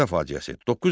Bərdə faciəsi.